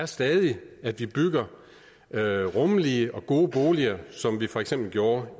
stadig at vi bygger rummelige og gode boliger som vi for eksempel gjorde